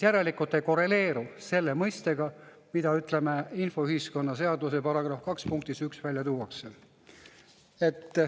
Järelikult see ei korreleeru selle mõistega, mida infoühiskonna seaduse § 2 punktis 1 välja tuuakse.